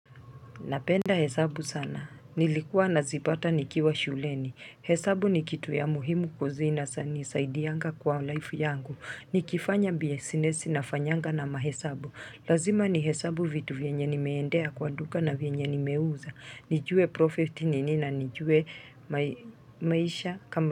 Napenda hesabu sana. Nilikuwa na zipata nikiwa shuleni. Hesabu ni kitu ya muhimu kuzina sa nisaidianga kwa life yangu. Ni kifanya biesinesi na fanyanga na mahesabu. Lazima ni hesabu vitu vyenye ni meendea kwa duka na vyenye ni meuza. Nijue profit ni nina. Nijue maisha kama.